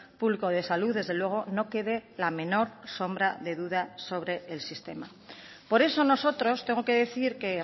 público de salud desde luego no quede la menor sombra de duda sobre el sistema por eso nosotros tengo que decir que